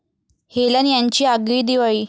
Helen यांची आगळी दिवाळी